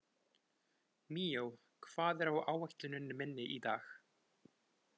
Míó, hvað er á áætluninni minni í dag?